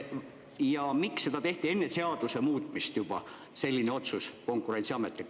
Ja miks Konkurentsiamet tegi sellise otsuse juba enne seaduse muutmist?